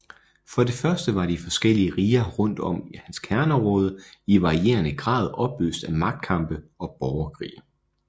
For det første var de forskellige riger rundt om hans kerneområde i varierende grad i opløst af magtkampe og borgerkrige